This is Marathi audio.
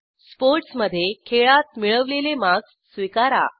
स्पोर्ट्स मधे खेळात मिळवलेले मार्क्स स्वीकारा